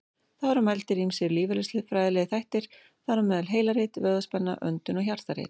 Þá eru mældir ýmsir lífeðlisfræðilegir þættir, þar á meðal heilarit, vöðvaspenna, öndun og hjartarit.